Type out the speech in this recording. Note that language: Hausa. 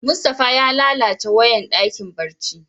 Mustapha ya lallace wayan dakin barci.